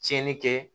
Tiɲɛni kɛ